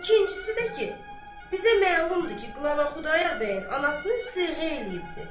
İkincisi də ki, bizə məlumdur ki, qlava Xudayar bəyin anasını siyğə eləyibdir.